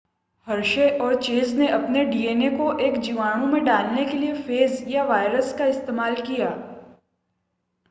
Hershey और Chase ने अपने डीएनए को एक जीवाणु में डालने के लिए फेज या वायरस का इस्तेमाल किया